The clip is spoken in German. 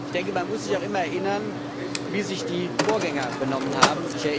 Ich denke, man muss sich auch immer erinnern, wie sich die Vorgänger benommen haben.